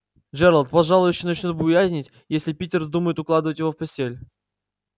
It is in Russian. джералд пожалуй ещё начнёт буянить если питер вздумает укладывать его в постель